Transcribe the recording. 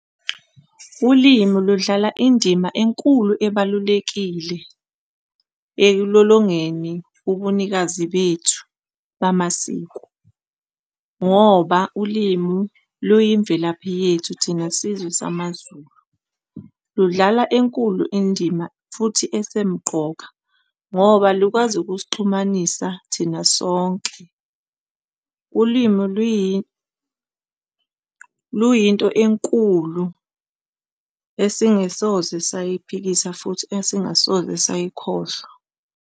Ulimu ludlala indima enkulu ebalulekile ekulolongeni ubunikazi bethu bamasiko ngoba ulimu luyimvelaphi yethu thina sizwe samaZulu. Ludlala enkulu indima futhi esemqoka ngoba lukwazi ukusixhumanisa thina sonke. Ulimu luyinto enkulu esingasoze sayiphikisa futhi esingasoze sayikhohlwa.